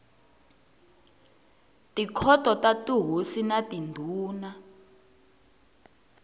tikhoto ta tihosi na tindhuna